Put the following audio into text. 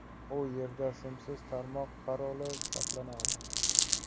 U yerda simsiz tarmoq paroli saqlanadi.